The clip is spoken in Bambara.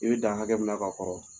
I bɛ dan hakɛ mina ka kɔrɔ